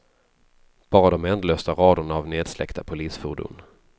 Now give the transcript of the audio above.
Bara de ändlösa raderna av nedsläckta polisfordon.